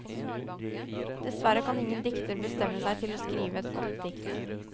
Dessverre kan ingen dikter bestemme seg til å skrive et godt dikt.